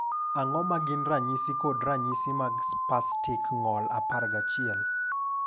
Ang'o ma gin ranyisi kod ranyisi mag Spastik ng’ol 11?